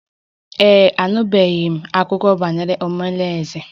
Ee e, anụtụbeghị m akụkọ banyere omalinze